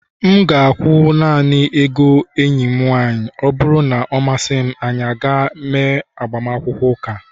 M ga-akwụ naanị ego enyi m nwanyị, ọ bụrụ na ọ masịrị m, anyị ga-eme agbamakwụkwọ ụka